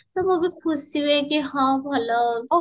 ମୁଁବି ଖୁସି ହୁଏ କି ହଁ ଭଲ